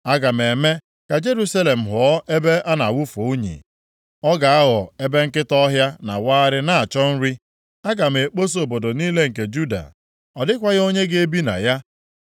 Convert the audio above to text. “Aga m eme ka Jerusalem ghọọ ebe a na-awụfu unyi. Ọ ga-aghọ ebe nkịta ọhịa na-awagharị na-achọ nri. Aga m ekposa obodo niile nke Juda. Ọ dịkwaghị onye ga-ebi na ya.”